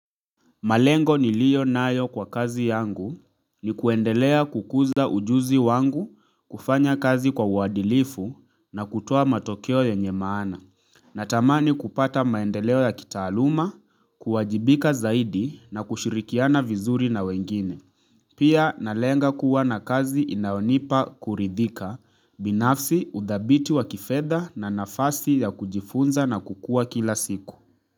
Malengo niliyo nayo kwa kazi yangu ni kuendelea kukuza ujuzi wangu kufanya kazi kwa uadilifu na kutoa matokeo ya nyemaana. Natamani kupata maendeleo ya kitaaluma, kuwajibika zaidi na kushirikiana vizuri na wengine. Pia nalenga kuwa na kazi inayonipa kuridhika binafsi udhabiti wa kifedha na nafasi ya kujifunza na kukua kila siku.